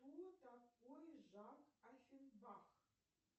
кто такой жак оффенбах